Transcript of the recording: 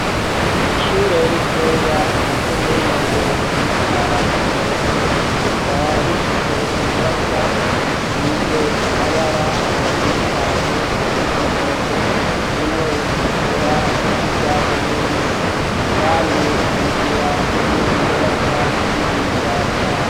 Ishure ritoya rya komine Ngozi intara ya Ngozi rikaba rifise inyubakwa isize amabara atandukanye harimwo umuhondo harimwo iritukura n'iryurwatsi rubisi kandi ikagira n'iyindi nyubakwa irihirya.